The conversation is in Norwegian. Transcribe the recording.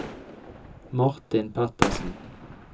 Martin Petersen